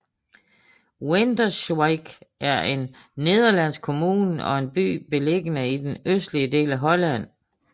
Winterswijk er en nederlandsk kommune og en by beliggende i den østlige del af Holland